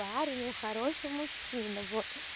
парень он хороший мужчина вот